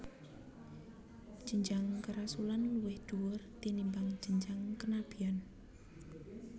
Jenjang kerasulan luwih dhuwur tinimbang jenjang kenabian